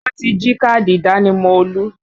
Wọ́n ti jí káàdì ìdánimọ̀ Olú